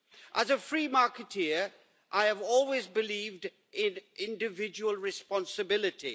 As a free marketeer, I have always believed in individual responsibility.